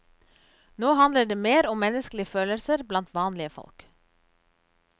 Nå handler det mer om menneskelige følelser blant vanlige folk.